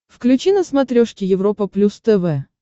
включи на смотрешке европа плюс тв